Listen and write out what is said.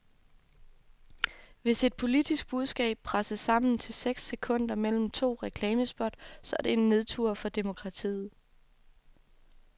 Hvis et politisk budskab presses sammen til seks sekunder mellem to reklamespot, så er det en nedtur for demokratiet.